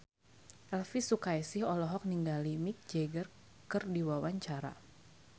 Elvi Sukaesih olohok ningali Mick Jagger keur diwawancara